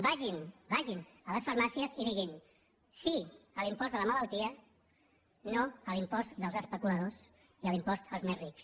vagin vagin a les farmàcies i diguin sí a l’impost de la malaltia no a l’impost als especuladors i a l’impost als més rics